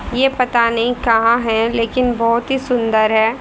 ये पता नहीं कहां है लेकिन बहुत ही सुंदर हैं।